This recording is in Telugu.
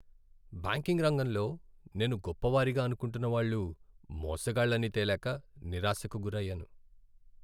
బ్యాంకింగ్ రంగంలో నేను గొప్ప వారిగా అనుకుంటున్న వాళ్ళు మోసగాళ్లని తేలాక నిరాశకు గురయ్యాను.